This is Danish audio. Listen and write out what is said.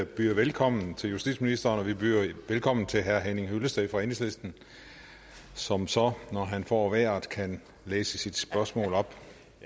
byder velkommen til justitsministeren og vi byder velkommen til herre henning hyllested fra enhedslisten som så når han får vejret kan læse sit spørgsmål op